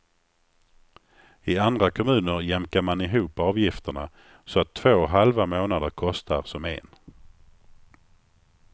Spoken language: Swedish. I andra kommuner jämkar man ihop avgifterna så att två halva månader kostar som en.